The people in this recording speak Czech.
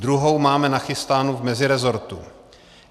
Druhou máme nachystánu v meziresortu.